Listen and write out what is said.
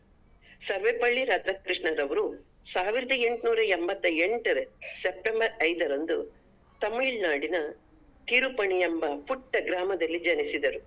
ಸರ್ವಪಲ್ಲಿ ರಾಧಾಕೃಷ್ಣನ್ ರವರು ಸಾವಿರದ ಎಂಟನೂರ ಎಂಬತ್ತ ಎಂಟರಲ್ಲಿ September ಐದರಂದು Tamil Nadu ನ Thirupani ಎಂಬ ಪುಟ್ಟ ಗ್ರಾಮದಲ್ಲಿ ಜನಿಸಿದರು